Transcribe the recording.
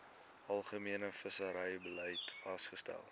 algemene visserybeleid vasgestel